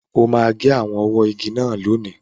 O máa gé àwọn ọwọ́ igi náà lónìí.